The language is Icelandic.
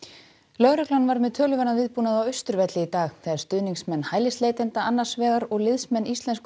lögreglan var með töluverðan viðbúnað á Austurvelli í dag þegar stuðningsmenn hælisleitenda annars vegar og liðsmenn Íslensku